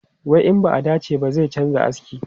Wai in ba a dace ba, zai canza aski.